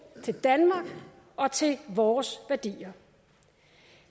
til danmark og til vores værdier